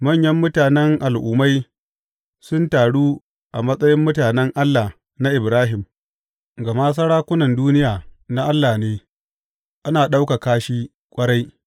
Manyan mutanen al’ummai sun taru a matsayin mutanen Allah na Ibrahim, gama sarkunan duniya na Allah ne; ana ɗaukaka shi ƙwarai.